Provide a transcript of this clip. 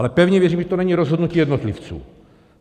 Ale pevně věřím, že to není rozhodnutí jednotlivců.